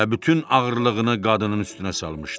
Və bütün ağırlığını qadının üstünə salmışdı.